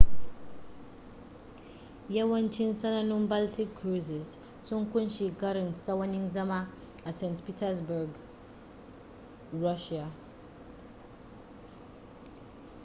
yawancin sanannun baltic cruises sun ƙunshi karin tsawan zama a st petersburg russia